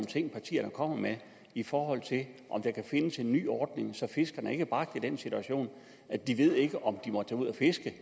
ting partierne kommer med i forhold til om der kan findes en ny ordning så fiskerne ikke bliver bragt i den situation at de ikke ved om de må tage ud at fiske